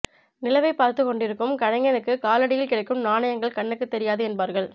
நிலவைப் பார்த்துக் கொண்டிருக்கும் கலைஞனுக்குக் காலடியில் கிடக்கும் நாணயங்கள் கண்ணுக்குத் தெரியாது என்பார்கள்